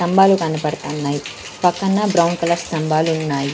తంబాలు కనపడతన్నాయి పక్కన brown colour స్తంభాలున్నాయి.